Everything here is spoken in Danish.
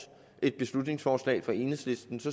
et beslutningsforslag fra enhedslistens